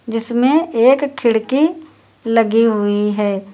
जिसमें एक खिड़की लगी हुई है।